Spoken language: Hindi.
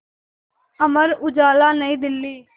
अमर उजाला नई दिल्ली